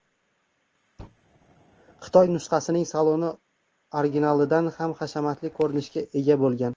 Xitoy nusxasining saloni originalidan ham hashamatli ko‘rinishga ega bo‘lgan.